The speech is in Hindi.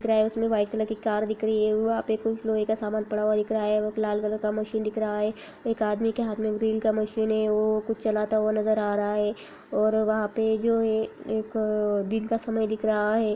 दिख रहा है उसमें व्हाइट कलर की कार दिख रही है वहां पर कुछ लोहे का सामान पड़ा हुआ दिख रहा है | लाल कलर का मशीन दिख रहा है | एक आदमी के हाथ में ड्रिल का मशीन है वो कुछ चलाता हुआ नजर आ रहा है। और वहाँ पे जो है एक दिन का समय दिख रहा है।